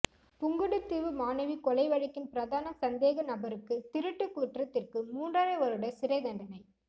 புங்குடுதீவு மாணவி கொலை வழக்கின் பிரதான சந்தேக நபருக்குதிருட்டு குற்றத்திற்கு மூன்றரை வருட சிறைத்தண்டனை